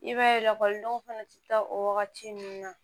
I b'a ye lakɔlidenw fana tɛ taa o wagati ninnu na